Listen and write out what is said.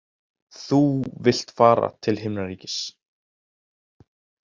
Þú vilt fara til himnaríkis.